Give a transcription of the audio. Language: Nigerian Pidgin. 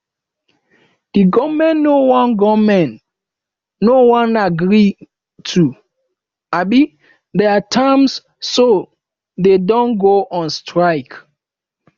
the government no wan government no wan agree to um their terms so dey don go on strike